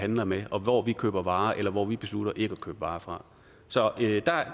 handler med og hvor vi køber varer eller hvor vi beslutter ikke at købe varer fra så